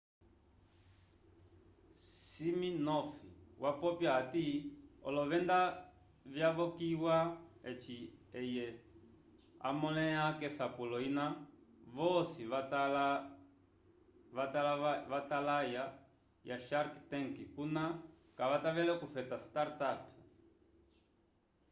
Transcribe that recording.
siminoff wapopya hati olovenda vyavokiya eci eye hamõleha k'esapulo ina vosi vatala ya shark tank kuna kavatavele okufeta startup